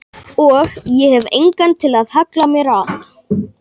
Og ég hef engan til að halla mér að.